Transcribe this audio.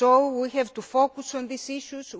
a say on this. We have to focus